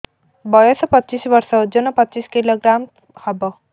ବୟସ ପଚିଶ ବର୍ଷ ଓଜନ ପଚିଶ କିଲୋଗ୍ରାମସ ହବ